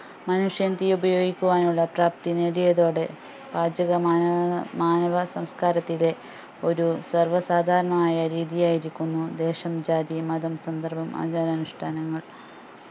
മനുഷ്യൻ തീ ഉപയോഗിക്കുവാനുള്ള പ്രാപ്തി നേടിയതോടെ പാചകം മാനവ മാനവ സംസ്കാരത്തിലെ ഒരു സർവ്വ സാദാരണമായ രീതിയായിരിക്കുന്നു ദേശം ജാതി മതം സന്ദർഭം ആചാരാനുഷ്ട്ടാനങ്ങൾ